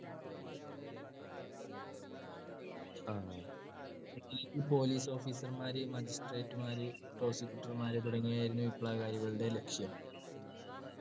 ആ ഈ police officer മാര് magistrate മാര് Prosecutor മാര് തുടങ്ങിയവരായിരുന്നു വിപ്ലവകാരികളുടെ ലക്ഷ്യം.